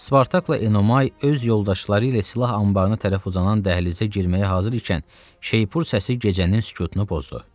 Spartakla Enomay öz yoldaşları ilə silah anbarına tərəf uzanan dəhlizə girməyə hazır ikən, şeypur səsi gecənin sükutunu pozdu.